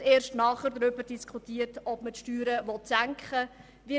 Und erst danach sollte man darüber diskutieren, ob man Steuern senken will.